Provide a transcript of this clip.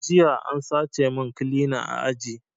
Jiya an sace min kilina a aji